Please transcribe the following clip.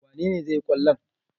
Wane ne zai yi kwallon?